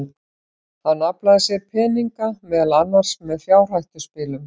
Hann aflaði sér peninga, meðal annars með fjárhættuspilum.